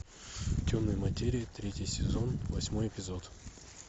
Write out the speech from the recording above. темная материя третий сезон восьмой эпизод